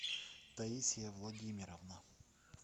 таисия владимировна